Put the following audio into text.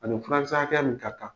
A ni furakisɛ hakɛya min ka kan.